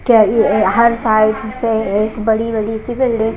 क्याअ अअअ हर साल से एक बड़ी बड़ी सी बिल्डिंग --